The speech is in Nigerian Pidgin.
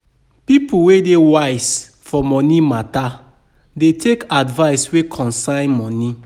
People wey dey wise for moni mata dey take advice wey concern moni.